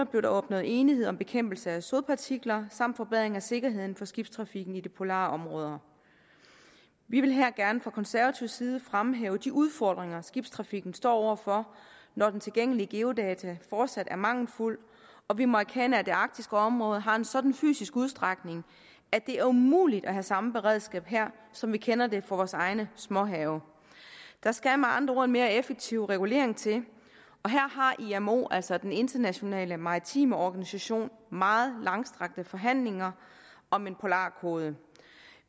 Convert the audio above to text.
blev der opnået enighed om bekæmpelse af sodpartikler samt forbedring af sikkerheden for skibstrafikken i de polare områder vi vil her gerne fra konservativ side fremhæve de udfordringer skibstrafikken står over for når de tilgængelige geodata fortsat er mangelfulde og vi må erkende at det arktiske område har en sådan fysisk udstrækning at det er umuligt at have samme beredskab her som vi kender det fra vores egne småhave der skal med andre ord en mere effektiv regulering til og her har imo altså den internationale maritime organisation meget langstrakte forhandlinger om en polarkode